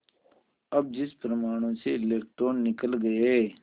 अब जिस परमाणु से इलेक्ट्रॉन निकल गए